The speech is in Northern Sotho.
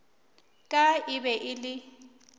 ka e be e le